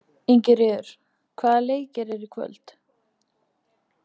Ingiríður, hvaða leikir eru í kvöld?